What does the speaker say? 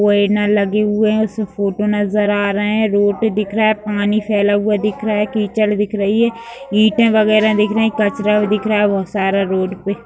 Banner लगे हुए हैं उसमे फोटो नज़र आ रहे हैं रोड दिख रहा है पानी फैला हुआ दिख रहा है कीचड़ दिख रही है ईटें वगेरा दिख रही है कचरा दिख रहा है बोहोत सारा रोड पे।